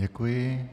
Děkuji.